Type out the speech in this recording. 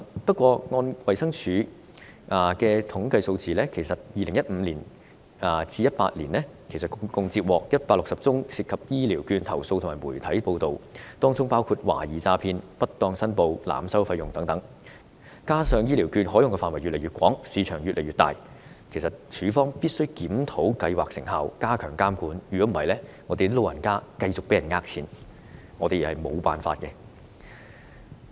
不過，按照衞生署的統計數字 ，2015 年至2018年共接獲160宗涉及醫療券的投訴及媒體報道，當中包括懷疑詐騙、不當申報、濫收費用等，加上醫療券的使用範圍越來越廣、市場越來越大，衞生署必須檢討計劃成效，加強監管，否則我們無法解決長者繼續被騙錢的情況。